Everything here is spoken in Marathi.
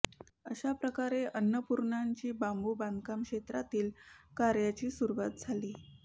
अशा प्रकारे अन्नपूर्णाची बांबू बांधकाम क्षेत्रातील कार्याची सुरुवात झाली